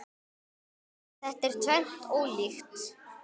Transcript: Þetta er tvennt ólíkt.